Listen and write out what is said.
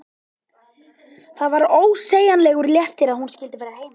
Það var ósegjanlegur léttir að hún skyldi vera heima.